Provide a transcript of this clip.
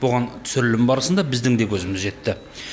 бұған түсірілім барысында біздің де көзіміз жетті